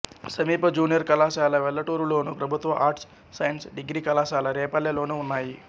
సమీప జూనియర్ కళాశాల వెల్లటూరులోను ప్రభుత్వ ఆర్ట్స్ సైన్స్ డిగ్రీ కళాశాల రేపల్లెలోనూ ఉన్నాయి